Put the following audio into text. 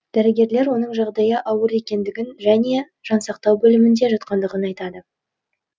дәрігерлер оның жағдайы ауыр екендігін және жансақтау бөлімінде жатқандығын айтады